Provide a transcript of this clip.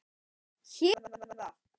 Hér er það!